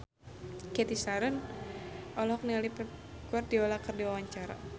Cathy Sharon olohok ningali Pep Guardiola keur diwawancara